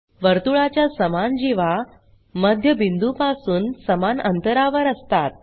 वर्तुळाच्या समान जीवा मध्यबिंदूपासून समान अंतरावर असतात